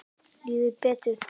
Líður betur.